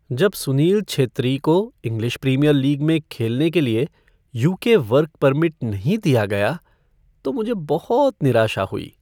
जब सुनील छेत्री को English Premier League में खेलने के लिए यू.के. वर्क परमिट नहीं दिया गया तो मुझे बहुत निराशा हुई।